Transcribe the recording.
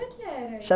Como é que era?